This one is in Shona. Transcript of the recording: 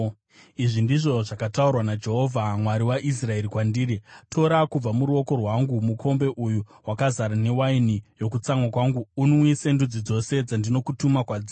Izvi ndizvo zvakataurwa naJehovha, Mwari waIsraeri, kwandiri: “Tora kubva muruoko rwangu mukombe uyu wakazara newaini yokutsamwa kwangu unwise ndudzi dzose dzandinokutuma kwadziri.